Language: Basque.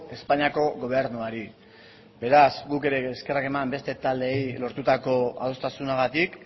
espainiako gobernuari beraz guk ere eskerrak eman beste taldeei lortutako adostasunagatik